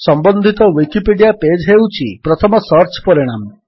ସମ୍ୱନ୍ଧିତ Wikipedia page ହେଉଛି ପ୍ରଥମ search ପରିଣାମ